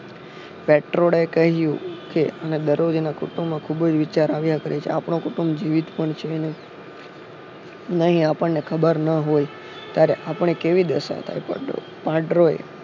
Petro એ કહ્યું કે અને દરોજ એના કુટુંબમાં ખુબ જ વિચાર આવ્યા કરે છે આપનો કુટુમ જીવિત પણ છે અને નહિ આપણ ને ખરા હોય ત્યારે આપણી કેવી દસ થાય પેટ્રો એ